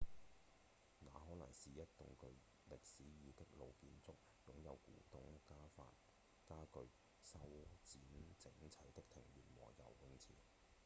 那可能是一棟具歷史意義的老建築擁有古董家具、修剪整齊的庭園和游泳池